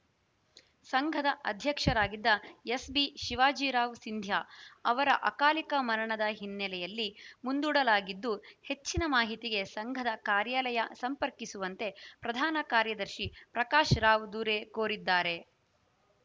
ಸಂಘದ ಅಧ್ಯಕ್ಷರಾಗಿದ್ದ ಎಸ್‌ಬಿ ಶಿವಾಜಿರಾವ್‌ ಸಿಂದ್ಯಾ ಅವರ ಅಕಾಲಿಕ ಮರಣದ ಹಿನ್ನೆಲೆಯಲ್ಲಿ ಮುಂದೂಡಲಾಗಿದ್ದು ಹೆಚ್ಚಿನ ಮಾಹಿತಿಗೆ ಸಂಘದ ಕಾರ್ಯಾಲಯ ಸಂಪರ್ಕಿಸುವಂತೆ ಪ್ರಧಾನ ಕಾರ್ಯದರ್ಶಿ ಪ್ರಕಾಶ್‌ರಾವ್‌ ದುರೆ ಕೋರಿದ್ದಾರೆ